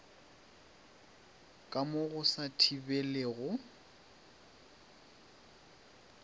ka mo go sa thibelego